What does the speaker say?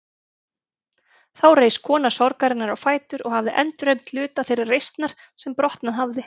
Þá reis kona sorgarinnar á fætur og hafði endurheimt hluta þeirrar reisnar sem brotnað hafði.